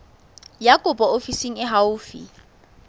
ya kopo ofising e haufi